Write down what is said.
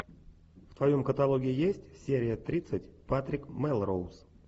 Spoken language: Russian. в твоем каталоге есть серия тридцать патрик мелроуз